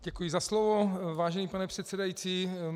Děkuji za slovo, vážený pane předsedající.